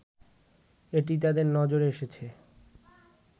এটি তাদের নজরে এসেছে